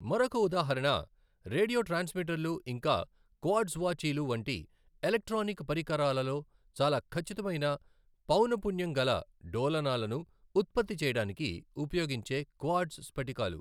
మరొక ఉదాహరణ రేడియో ట్రాన్స్మిటర్లు ఇంకా క్వార్ట్జ్ వాచీలు వంటి ఎలక్ట్రానిక్ పరికరాలలో చాలా ఖచ్చితమైన పౌన పున్యం గల డోలనాలను ఉత్పత్తి చేయడానికి ఉపయోగించే క్వార్ట్జ్ స్ఫటికాలు.